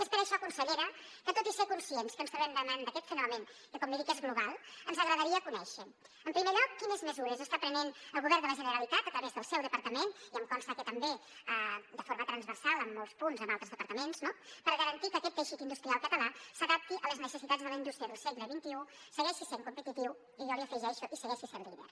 és per això consellera que tot i ser conscients que ens trobem davant d’aquest fenomen que com li dic és global ens agradaria conèixer en primer lloc quines mesures està prenent el govern de la generalitat a través del seu departament i em consta que també de forma transversal en molts punts amb altres departaments no per garantir que aquest teixit industrial català s’adapti a les necessitats de la indústria del segle xxi segueixi sent competitiu i jo hi afegeixo segueixi sent líder